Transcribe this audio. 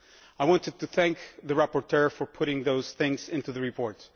I want to thank the rapporteur for putting those things into the report.